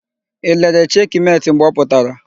I lere Cheki Meti mgbe ọ pụtara?